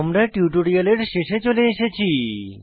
আমরা টিউটোরিয়ালের শেষে চলে এসেছি